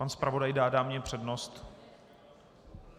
Pan zpravodaj dá dámě přednost.